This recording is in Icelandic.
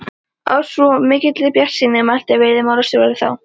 Af svo mikilli bjartsýni mælti veiðimálastjóri þá.